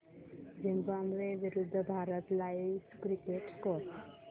Zimbabwe विरूद्ध Bharat live cricket score